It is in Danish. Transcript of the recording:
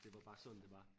Det var bare sådan det var